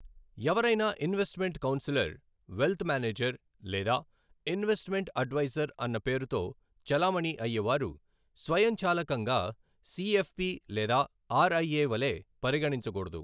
ఎవరైనా investment counsellor, wealth manager లేదా investment adviser అన్న పేరుతో చలామణి అయ్యేవారు స్వయంచాలకంగా సీఎఫ్పీ లేదా ఆర్ఐఏ వలె పరిగణించకూడదు.